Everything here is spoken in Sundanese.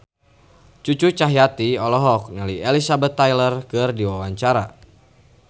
Cucu Cahyati olohok ningali Elizabeth Taylor keur diwawancara